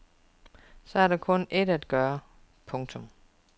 Så er der kun ét at gøre. punktum